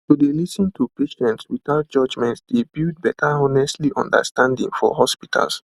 to dey lis ten to patients without judgement dey build better honestly understanding for hospitals